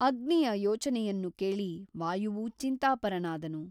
ಅಗ್ನಿಯ ಯೋಚನೆಯನ್ನು ಕೇಳಿ ವಾಯುವೂ ಚಿಂತಾಪರನಾದನು.